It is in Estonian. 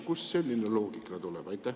Kust selline loogika tuleb?